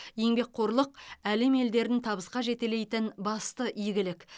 еңбекқорлық әлем елдерін табысқа жетелейтін басты игілік